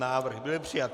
Návrh byl přijat.